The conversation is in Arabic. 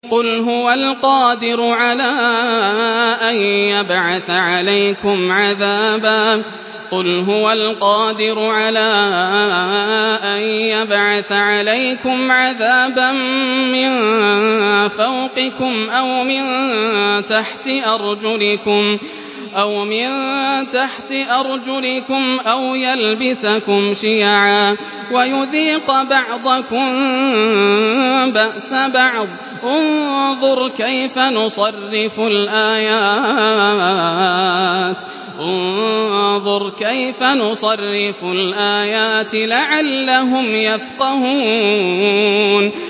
قُلْ هُوَ الْقَادِرُ عَلَىٰ أَن يَبْعَثَ عَلَيْكُمْ عَذَابًا مِّن فَوْقِكُمْ أَوْ مِن تَحْتِ أَرْجُلِكُمْ أَوْ يَلْبِسَكُمْ شِيَعًا وَيُذِيقَ بَعْضَكُم بَأْسَ بَعْضٍ ۗ انظُرْ كَيْفَ نُصَرِّفُ الْآيَاتِ لَعَلَّهُمْ يَفْقَهُونَ